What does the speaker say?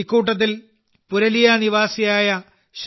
ഇക്കൂട്ടത്തിൽ പുരലിയ നിവാസിയായ ശ്രീ